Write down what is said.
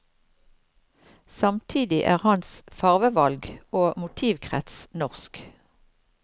Samtidig er hans farvevalg og motivkrets norsk.